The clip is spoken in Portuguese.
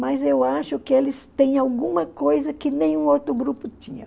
mas eu acho que eles têm alguma coisa que nenhum outro grupo tinha.